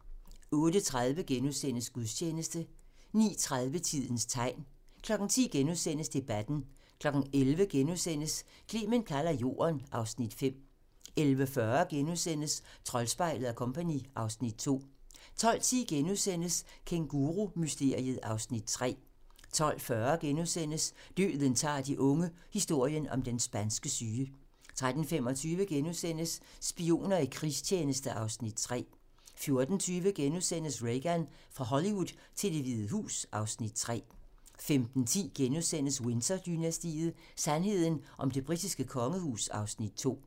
08:30: Gudstjeneste * 09:30: Tidens tegn 10:00: Debatten * 11:00: Clement kalder Jorden (Afs. 5)* 11:40: Troldspejlet & Co. (Afs. 2)* 12:10: Kængurumysteriet (Afs. 3)* 12:40: Døden tager de unge - historien om den spanske syge * 13:25: Spioner i krigstjeneste (Afs. 3)* 14:20: Reagan - fra Hollywood til Det Hvide Hus (Afs. 3)* 15:10: Windsor-dynastiet: Sandheden om det britiske kongehus (Afs. 2)*